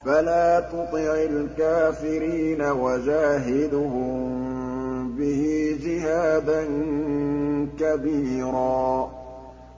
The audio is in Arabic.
فَلَا تُطِعِ الْكَافِرِينَ وَجَاهِدْهُم بِهِ جِهَادًا كَبِيرًا